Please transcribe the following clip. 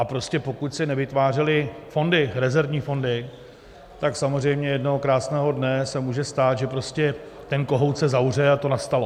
A prostě pokud se nevytvářely fondy, rezervní fondy, tak samozřejmě jednoho krásného dne se může stát, že prostě ten kohout se zavře, a to nastalo.